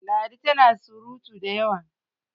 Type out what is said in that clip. ladi tana da surutu da yawa!